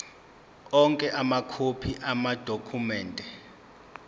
onke amakhophi amadokhumende